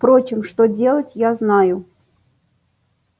впрочем что делать я знаю